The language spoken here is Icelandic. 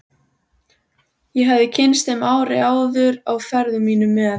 Ég hafði kynnst þeim ári áður á ferðum mínum með